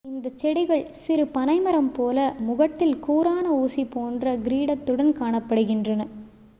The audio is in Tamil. இந்த செடிகள் சிறு பனைமரம் போல முகட்டில் கூரான ஊசி போன்ற கிரீடத்துடன் காணப்படுகின்றன